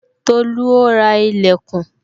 Tolu ó ra ìlẹ̀kùn